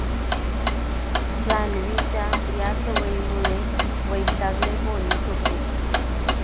जान्हवीच्या या सवयीमुळे वैतागले बोनी कपूर